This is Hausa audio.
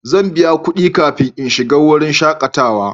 Zan biya kudi kafin in shiga wurin shakatawa.